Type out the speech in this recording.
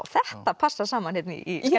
þetta passar saman hérna í